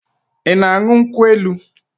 I na-aṅụ nkwụ elu?